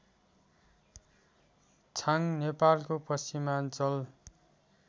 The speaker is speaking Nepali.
छाङ नेपालको पश्चिमाञ्चल